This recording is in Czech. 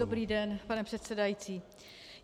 Dobrý den, pane předsedající.